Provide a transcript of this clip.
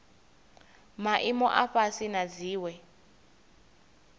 maimo a fhasi na dziwe